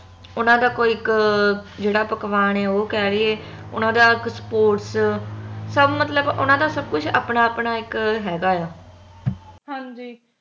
ਉਹਨਾਂ ਦਾ ਕੋਈ ਇਕ ਪਕਵਾਨ ਓਹ ਕਹਿ ਦੀਏ ਓਹਨਾ ਦਾ ਇਕ sports ਸਬ ਮਤਲਬ ਉਹਨਾਂ ਦਾ ਸਬ ਕੁਛ ਆਪਣਾ ਆਪਣਾ ਇਕ ਹੈਗਾ ਆ